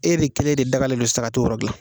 E de kelen de dagalen don sisan ka ta g'o yɔrɔ gilan